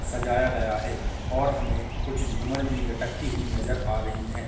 सजाया गया है और हमें कुछ झूमर भी लटकती हुई नज़र आ रही हैं।